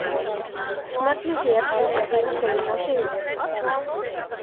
Smellið hér til að sjá hina hliðina á Sigurði.